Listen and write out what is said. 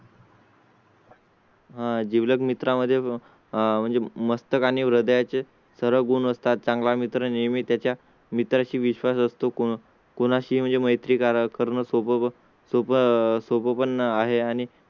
हा जीव लग मित्रा मध्ये म्हणजे मस्तका आणि हृदया चे सर्व गुण असतात. चांगला मित्र नेहमी त्याच्या मित्रां शी विश्वास असतो. कोणा शी मैत्री करणं सोप्पं सोप्पं सोप्पं पण आहे आणि